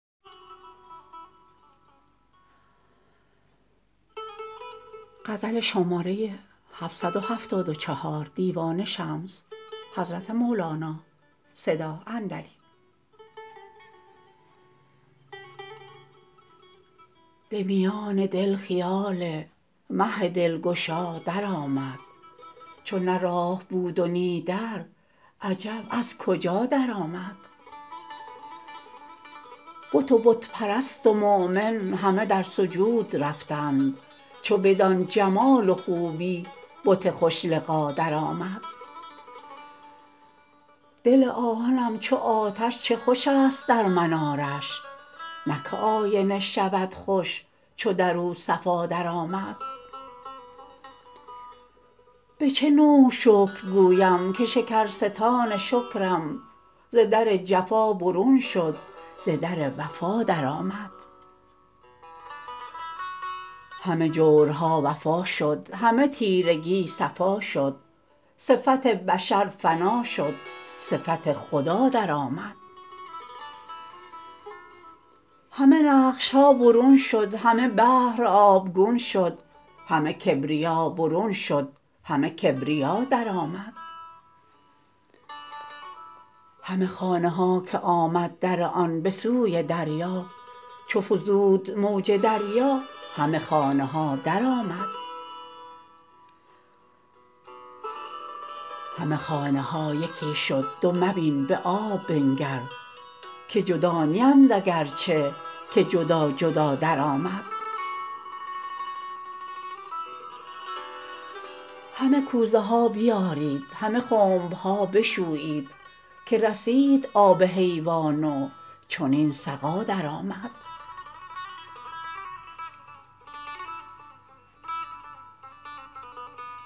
به میان دل خیال مه دلگشا درآمد چو نه راه بود و نی در عجب از کجا درآمد بت و بت پرست و مؤمن همه در سجود رفتند چو بدان جمال و خوبی بت خوش لقا درآمد دل آهنم چو آتش چه خوش است در منارش نه که آینه شود خوش چو در او صفا درآمد به چه نوع شکر گویم که شکرستان شکرم ز در جفا برون شد ز در وفا درآمد همه جورها وفا شد همه تیرگی صفا شد صفت بشر فنا شد صفت خدا درآمد همه نقش ها برون شد همه بحر آبگون شد همه کبریا برون شد همه کبریا درآمد همه خانه ها که آمد در آن به سوی دریا چو فزود موج دریا همه خانه ها درآمد همه خانه ها یکی شد دو مبین به آب بنگر که جدا نیند اگر چه که جدا جدا درآمد همه کوزه ها بیارید همه خنب ها بشویید که رسید آب حیوان و چنین سقا درآمد